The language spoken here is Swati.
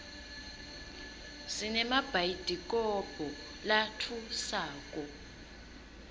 sinemabhayidikobho latfusako